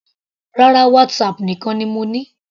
Rárá, WhatsApp nìkan ni mo ní.